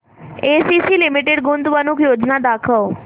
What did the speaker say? ACC limited गुंतवणूक योजना दाखव